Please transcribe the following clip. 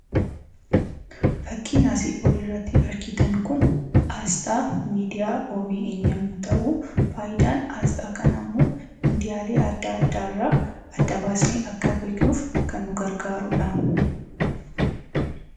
Fakkiin asii olitti argitan kun aasxaa miidiyaa OBN yommuuu ta'u, faayidaan aasxaa kanaa immoo miidiyaalee adda addaa irraa adda baasnee akka beeknuuf kan nu gargaarudha.